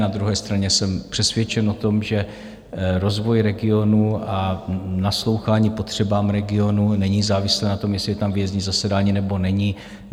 Na druhé straně jsem přesvědčen o tom, že rozvoj regionů a naslouchání potřebám regionu není závislé na tom, jestli je tam výjezdní zasedání, nebo není.